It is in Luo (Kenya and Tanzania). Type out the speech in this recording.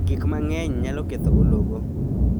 Gik mang�eny nyalo ketho ologo.